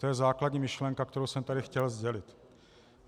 To je základní myšlenka, kterou jsem tu chtěl sdělit.